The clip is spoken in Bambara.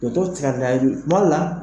Foto kila kilayali la o la